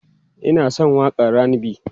ni Ina San waƙan RAndB